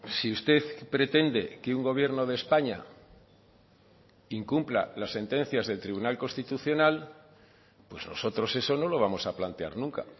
si usted pretende que un gobierno de españa incumpla las sentencias del tribunal constitucional pues nosotros eso no lo vamos a plantear nunca